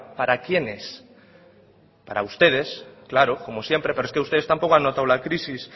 para quienes para ustedes claro como siempre pero es que ustedes tampoco han notado la crisis